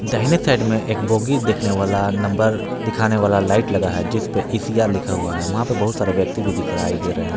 दाहिने साइड में एक बोगी देखने वाला नंबर दिखाने वाला लाइट लगा है जिस पर ई_सी_आर लिखा हुआ है वहां पर बहुत सारे व्यक्ति भी दिखाई दे रहे हैं।